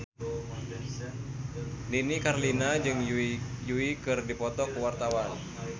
Nini Carlina jeung Yui keur dipoto ku wartawan